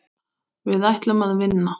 Við ætlum að vinna.